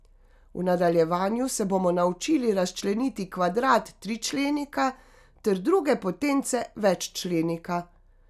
V nadaljevanju se bomo naučili razčleniti kvadrat tričlenika ter druge potence veččlenika.